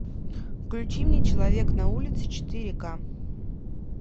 включи мне человек на улице четыре ка